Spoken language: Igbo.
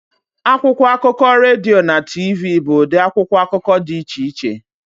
Akwụkwọ akụkọ, redio na TV bụ ụdị akwụkwọ akụkọ dị iche iche